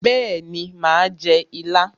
Bẹ́ẹ̀ni mà á jẹ ilá.